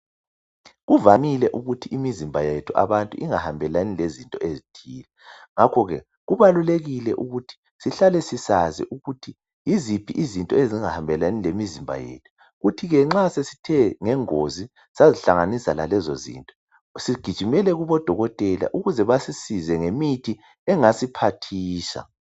Kuvamile ukuthi imizimba yethu abantu ingahambelani lezinto ezithile ngakho ke kubalulekile ukuthi sihlale sisazi ukuthi yiziphi izinto ezingahambelani lemizimba yethu kuthi ke nxa sesithe ngengozi sazihlanganisa lalezo zinto sigijimele kubodokotela ukuze basisize ngemithi engasiphathisa.